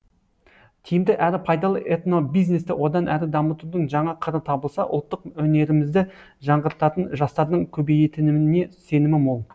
тиімді әрі пайдалы этнобизнесті одан әрі дамытудың жаңа қыры табылса ұлттық өнерімізді жаңғыртатын жастардың көбейетініне сенімі мол